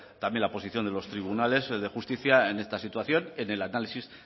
también la posición de los tribunales de justicia en esta situación en el análisis